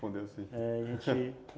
Correspondeu sim.